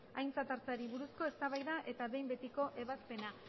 aintzat hartzeari buruzko eztabaida eta behin betiko ebazpena